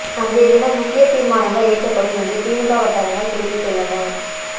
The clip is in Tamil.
அன்றைய தினம் முக்கிய தீர்மானங்கள் இயற்றப்படும் என்றும் திமுக வட்டாரங்கள் தெரிவித்துள்ளன